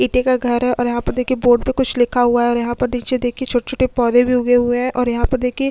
इटे का घर है और यहाँ पर देखिये बोर्ड पर कुछ लिखा हुआ है और यहाँ पर निचे देखिये छोटे - छोटे पौधे भी उगे हुए है और यहाँ पर देखिये --